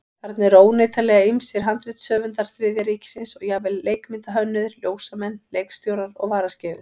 Þarna eru óneitanlega ýmsir handritshöfundar Þriðja ríkisins og jafnvel leikmyndahönnuðir, ljósamenn, leikstjórar og varaskeifur.